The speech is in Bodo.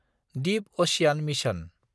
Deep ocean mission